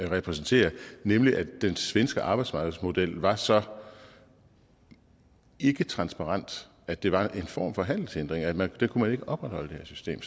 repræsenterer nemlig at den svenske arbejdsmarkedsmodel var så ikketransparent at det var en form for handelshindring man kunne ikke opretholde det system